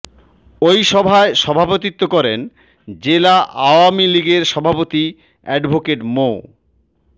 ওই সভায় সভাপতিত্ব করেন জেলা আওয়ামী লীগের সভাপতি অ্যাডভোকেট মো